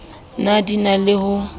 ne di na le ho